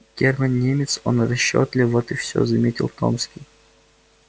германн немец он расчётлив вот и всё заметил томский